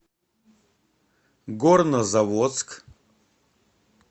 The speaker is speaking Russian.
горнозаводск